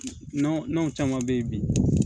Nɔnɔ caman bɛ yen bi